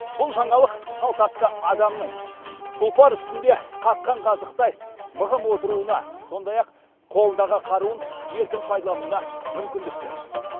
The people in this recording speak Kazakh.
бұл жаңалық салт атты адамның тұлпар үстінде қаққан қазықтай мығым отыруына сондай ақ қолындағы қаруын еркін пайдалануына мүмкіндік берді